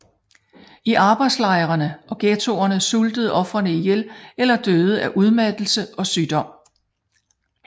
I arbejdslejrene og ghettoerne sultede ofrene ihjel eller døde af udmattelse og sygdomme